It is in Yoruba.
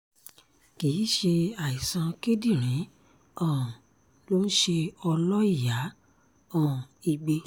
kì í ṣe àìsàn kíndìnrín um ló ń ṣe ọlọ́ìyá um igbe